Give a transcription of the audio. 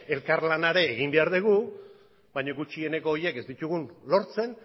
elkarlana ere egin behar dugu baina gutxieneko horiek ez ditugun lortzen